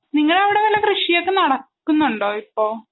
നിങ്ങടവിടെ വല്ല കൃഷിയൊക്കെ നടക്കുന്നുണ്ടോ? ഇപ്പോ?